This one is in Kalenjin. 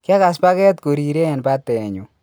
Kiakas paket korire en patenyun.